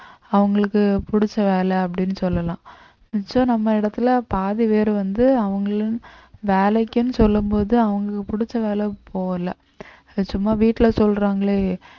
அவங்களுக்கு பிடிச்ச வேலை அப்படின்னு சொல்லலாம் மிச்சம் நம்ம இடத்துல பாதி பேர் வந்து அவங்களும் வேலைக்குன்னு சொல்லும் போது அவங்களுக்கு பிடிச்ச வேலை போகலை அது சும்மா வீட்டுல சொல்றாங்களே